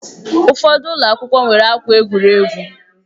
Ụfọdụ ụlọ akwụkwọ nwere akwa egwuregwu